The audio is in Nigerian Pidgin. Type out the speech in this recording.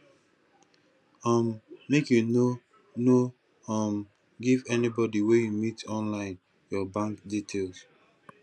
um make you no no um give anybodi wey you meet online your bank details